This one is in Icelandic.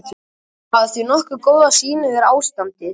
Þeir hafa því nokkuð góða sýn yfir ástandið.